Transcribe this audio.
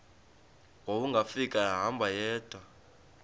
wawungafika ehamba yedwa